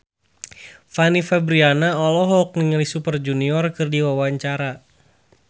Fanny Fabriana olohok ningali Super Junior keur diwawancara